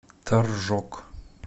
торжок